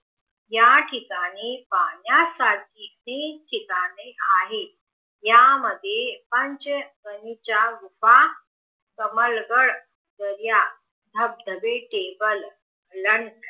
या ठिकाणी पाहण्यासाठी ठिकठिकाणे आहे यामध्ये लोकांचं बानी च्या रूप कमळगड दर्या धबधबे टेबल लडखडणारे